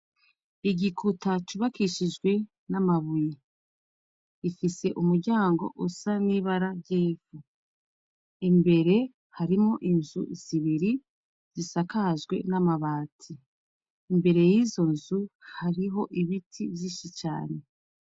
Igikuta cubakishijwe n'amabuye ifise umuryango usa n'ibara ryifu imbere harimo inzu zibiri zisakajwe n'amabati imbere y'izo nzu hariho ibiti vyishi cane.